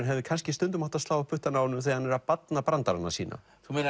hefði kannski stundum átt að slá á puttana á honum þegar hann er að barna brandarana sína svo